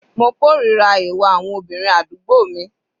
Mo kòrira ìwà àwọn obìnrin àdúgbò mi.